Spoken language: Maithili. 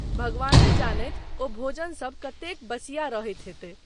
भगवाने जानथि, ओ भोजन सब कतेक बसिया रहैत हेतै।